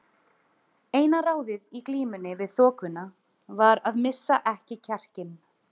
Eina ráðið í glímunni við þokuna var að missa ekki kjarkinn.